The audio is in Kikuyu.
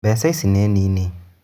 Mbeca ici nĩ nini.